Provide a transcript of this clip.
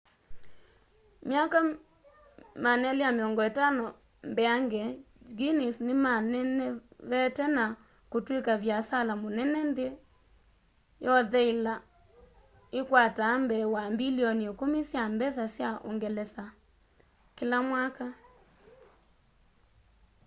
myaka 250 mbeange guinness nĩmanenevete na kũtwĩka vĩasala mũnene nthĩ yontheĩla ĩkwataa mbee wa mbilioni 10 sya mbesa sya ũngelesa us dollars 14.7 mbilioni kĩla mwaka